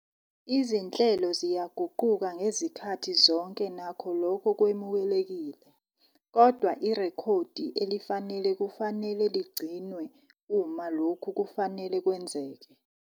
Izinhlelo ziyaguquka ngezikhathi zonke nakho lokho kwemukelekile, kodwa irekhodi elifanele kufanele ligcinwe uma lokhu kufanele kwenzeke.